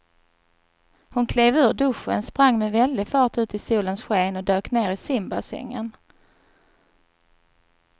Hon klev ur duschen, sprang med väldig fart ut i solens sken och dök ner i simbassängen.